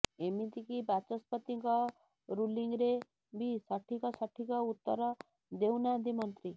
ଏମିତିକି ବାଚସ୍ପତିଙ୍କ ରୁଲିଂରେ ବି ସଠିକ ସଠିକ ଉତ୍ତର ଦେଉନାହାନ୍ତି ମନ୍ତ୍ରୀ